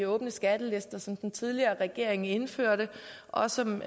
åbne skattelister som den tidligere regering indførte og som